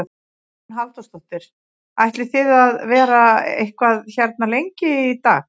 Hugrún Halldórsdóttir: Ætlið þið að vera eitthvað hérna lengi í dag?